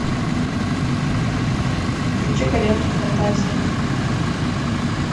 включи ка ленту фантазия